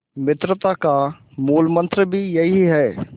मित्रता का मूलमंत्र भी यही है